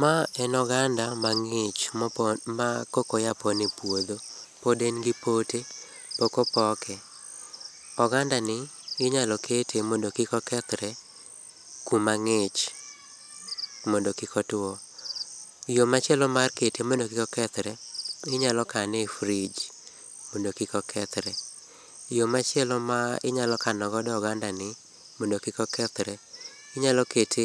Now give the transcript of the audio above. Ma en oganda mangich mopon, ma koka oya pon e puodho, pod en gi pok opoke. oganda ni inya kete mondo kik okethre kuma ngich mondo kik otuo. Yoo machielo mar kete mondo kik okethre inyalo kane e fridge mondo kik okethre, yoo machielo ma inyalo kano godo oganda ni mondo kik okethre inyalo kete